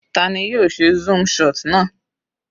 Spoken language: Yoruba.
Tani yóò ṣe zoom shot náà?